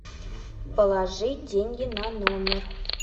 положи деньги на номер